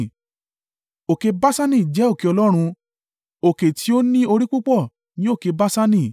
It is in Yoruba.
Òkè Baṣani jẹ́ òkè Ọlọ́run; òkè tí ó ní orí púpọ̀ ni òkè Baṣani.